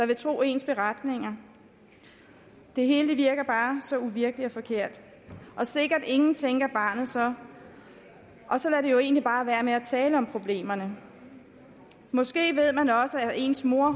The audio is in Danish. vil tro ens beretninger det hele virker bare så uvirkeligt og forkert og sikkert ingen tænker barnet så og så lader det jo egentlig bare være med at tale om problemerne måske ved man også at ens mor